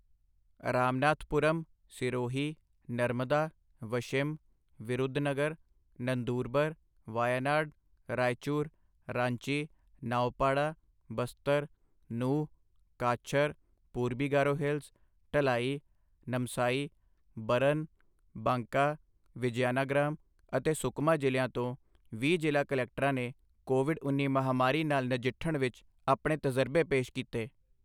ਰਾਮਨਾਥਪੂਰਮ, ਸਿਰੋਹੀ, ਨਰਮਦਾ, ਵਸ਼ਿਮ, ਵਿਰੁਧਨਗਰ, ਨੰਦੂਰਬਰ, ਵਾਯਾਨਾਡ, ਰਾਇਚੂਰ, ਰਾਂਚੀ, ਨਾਉਪਾੜਾ, ਬਸਤਰ, ਨੂਹ, ਕਾਛਰ, ਪੂਰਬੀ ਗਾਰੋ ਹਿਲਸ, ਢਲਾਈ, ਨਮਸਾਈ, ਬਰਨ, ਬਾਂਕਾ, ਵਿਜ਼ਿਆਨਾਗ੍ਰਾਮ ਅਤੇ ਸੁਕਮਾ ਜ਼ਿਲ੍ਹਿਆਂ ਤੋਂ ਵੀਹ ਜ਼ਿਲ੍ਹਾ ਕਲੈਕਟਰਾਂ ਨੇ ਕੋਵਿਡ ਉੱਨੀ ਮਹਾਮਾਰੀ ਨਾਲ ਨਜਿੱਠਣ ਵਿੱਚ ਆਪਣੇ ਤਜਰਬੇ ਪੇਸ਼ ਕੀਤੇ।